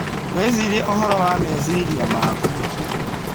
Wĩcirie ũhoro wa meciria maku.